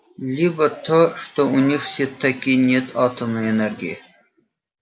либо то что у них всё-таки нет атомной энергии